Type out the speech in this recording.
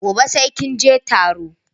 Gobe sai kinje taron